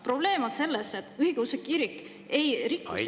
Probleem on selles, et õigeusu kirik ei riku seadust.